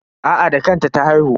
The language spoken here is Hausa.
Aa da kanta ta haihu.